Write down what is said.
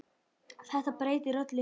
Þetta breytir öllu.